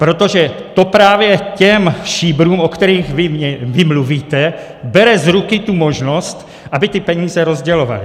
Protože to právě těm šíbrům, o kterých vy mluvíte, bere z ruky tu možnost, aby ty peníze rozdělovali.